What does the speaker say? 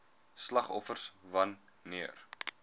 slagoffers wan neer